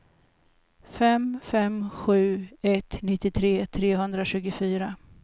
fem fem sju ett nittiotre trehundratjugofyra